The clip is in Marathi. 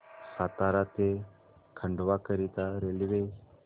सातारा ते खंडवा करीता रेल्वे